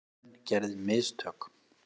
Dómarinn gerði mistök.